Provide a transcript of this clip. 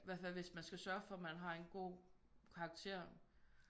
I hvert fald hvis man skal sørge for man har en god karakter